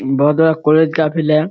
बहुत बड़ा कॉलेज का फील्ड है।